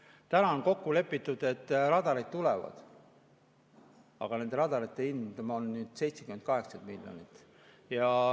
Täna on kokku lepitud, et radarid tulevad, aga nende radarite hind on 70–80 miljonit.